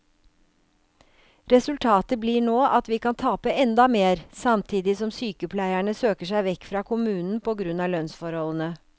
Resultatet blir nå at vi kan tape enda mer, samtidig som sykepleierne søker seg vekk fra kommunen på grunn av lønnsforholdene.